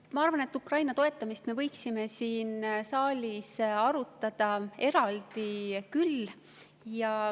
Ma arvan, et Ukraina toetamist me võiksime siin saalis arutada eraldi küll.